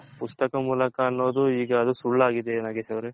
ಪುಸ್ತಕ ಮೂಲಕ ಆನ್ನೋದ್ ಇಗದು ಸುಳ್ಳಾಗಿದೆ ನಾಗೇಶ್ ಅವ್ರೆ.